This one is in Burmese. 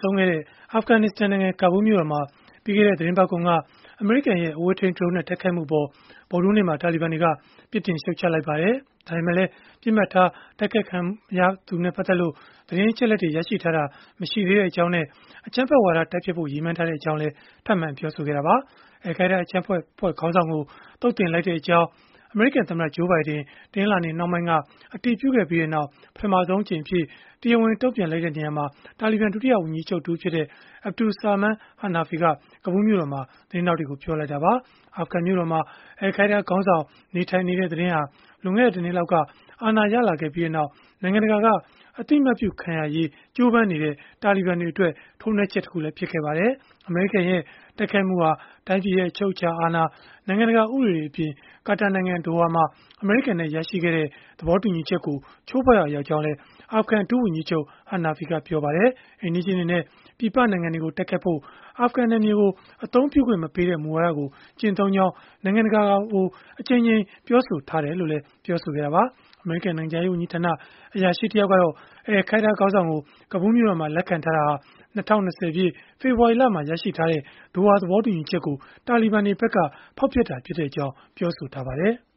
ဆုံးခဲ့တဲ့ အာဖဂနစ္စတန်နိုင်ငံ ကာဘူးမြို့တော်မှာ ပြီးခဲ့တဲ့ သီတင်းပတ်ကုန်က အမေရိကန်ရဲ့ အဝေးထိန်း ဒရုန်းနဲ့ တိုက်ခိုက်မှုအပေါ် ဗုဒ္ဓဟူးနေ့မှာ တာလီဘန်တွေက ပြစ်တင်ရှုတ်ချလိုက်ပါတယ်။ ဒါပေမဲ့လည်း ပစ်မှတ်ထား တိုက်ခိုက်ခံခဲ့ရသူနဲ့ ပတ်သက်လို့ သတင်းအချက်အလက် ရရှိထားတာ မရှိသေးကြောင်းနဲ့ အကြမ်းဖက်ဝါဒ တိုက်ဖျက်ဖို့ ရည်မှန်းထားကြောင်း ထပ်မံပြောဆိုလိုက်ပါတယ်။ အယ်လ်ခိုင်းဒါး အကြမ်းဖက်အဖွဲ့ခေါင်းဆောင်ကို သုတ်သင်လိုက်ကြောင်း အမေရိကန်သမ္မတ Joe Biden တနင်္လာနေ့နှောင်းပိုင်းက အတည်ပြုခဲ့ပြီးနောက်၊ ပထမဆုံးအကြိမ်အဖြစ် တရားဝင်တုံ့ပြန်ချက်အဖြစ် တာလီဘန် ဒုတိယဝန်ကြီးချုပ် တဦးဖြစ်တဲ့ Abdul Salam Hanafi က ကာဘူးမြို့တော်မှာ သတင်းထောက်တွေကို ပြောလိုက်တာပါ။ အာဖဂန်မြို့တော်မှာ အယ်လ်ခိုင်းဒါးခေါင်းဆောင် နေထိုင်နေတဲ့ သတင်းဟာ လွန်ခဲ့တဲ့ ၁ နှစ်လောက်က အာဏာရလာပြီးနောက် နိုင်ငံတကာ အသိအမှတ်ပြုခံရရေး ကြိုးပမ်းနေတဲ့ တာလီဘန်တွေအတွက် ထိုးနှက်ချက်တခု ဖြစ်ခဲ့ပါတယ်။ အမေရိကန်ရဲ့ တိုက်ခိုက်မှုဟာ တိုင်းပြည်အချုပ်အခြာအာဏာ၊ နိုင်ငံတကာ ဥပဒေတွေအပြင် ကာတာနိုင်ငံ ဒိုဟာမှာ အမေရိကန်နဲ့ ရရှိခဲ့တဲ့ သဘောတူညီချက်ကို ချိုးဖောက်ရာ ရောက်ကြောင်းလည်း အာဖဂန်ဒုဝန်ကြီးချုပ် Hanafi ကပြောပါတယ်။ အိမ်နီးချင်းတွေနဲ့ ပြည်ပနိုင်ငံတွေကို တိုက်ခိုက်ဖို့ အာဖဂန်နယ်မြေကို အသုံးပြုခွင့်မပေးတဲ့ မူဝါဒကို ကျင့်သုံးကြောင်း နိုင်ငံတကာကို အကြိမ်ကြိမ် ပြောဆိုထားတယ်လို့လည်း ပြောခဲ့တာပါ။ အမေရိကန် နိုင်ငံခြားရေးဝန်ကြီးဌာန အရာရှိတယောက်ကတော့ အယ်လ်ခိုင်းဒါး ခေါင်းဆောင်ကို ကာဘူးလ်မြို့တော်မှာ လက်ခံထားတာဟာ ၂၀၂၀ ပြည့်၊ ဖေဖော်ဝါရီလက ရရှိထားတဲ့ ဒိုဟာသဘောတူညီချက်ကို တာလီဘန်တွေဖက်က ဖောက်ဖျက်တာဖြစ်ကြောင်း ပြောဆိုထားပါတယ်။